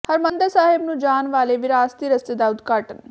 ਹਰਮਿੰਦਰ ਸਾਹਿਬ ਨੂੰ ਜਾਣ ਵਾਲੇ ਵਿਰਾਸਤੀ ਰਸਤੇ ਦਾ ਉਦਘਾਟਨ